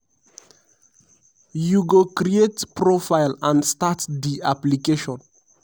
you go create profile and start di application.